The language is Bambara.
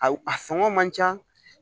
A sɔngɔ man ca